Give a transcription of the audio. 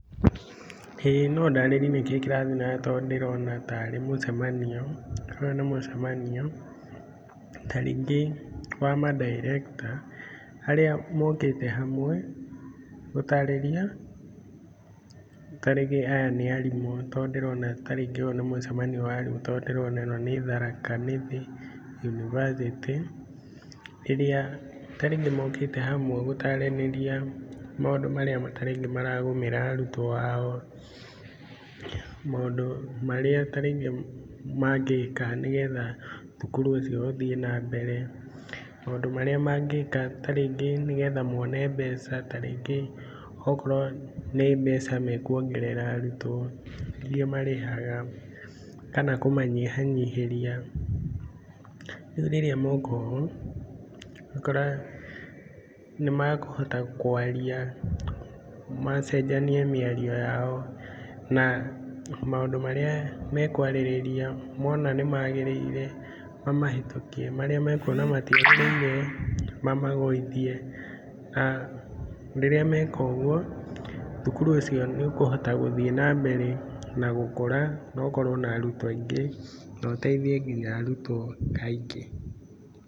ĩĩ no ndarĩrie nĩkĩĩ kĩrathiĩ na mbere tondũ ndĩrona taarĩ mũcemanio. Ũyũ nĩ mũcemanio, ta rĩngĩ wa ma director arĩa mokĩte hamwe gutarĩria. Ta rĩngĩ aya nĩ arimũ tondũ ndĩrona ta rĩngĩ ũyũ nĩ mũcemanio wa arimũ tondũ ndĩrona ĩno nĩ Tharaka Nithi University ĩrĩa ta rĩngĩ mookĩte hamwe gũtaranĩria maũndũ marĩa ta rĩngĩ maragũmĩra arutũo ao. Maũndũ marĩa ta rĩngĩ mangĩka nĩgetha thukuru ũcio ũthiĩ na mbere, maũndũ marĩa mangĩka ta rĩngĩ nĩgetha moone mbeca ta rĩngĩ o korũo nĩ mbeca mekuongerera arutũo iria marĩhaga, kana kũmanyihanyihĩria. Rĩu rĩrĩa moka ũũ, ũgakora nĩmakũhota kũaria, macenjania mĩario yao na maũndũ marĩa mekũarĩrĩria mona nĩ magĩrĩire mamahĩtũkie, marĩa mekuona matiagĩrĩire, mamagũithie. Rĩrĩa meka ũgũo, thukuru ũcio nĩ ũkũhota gũthiĩ na mbere na gũkũra na ũkorũo na arutũo aingĩ na ũteithie nginya arutũo aingĩ.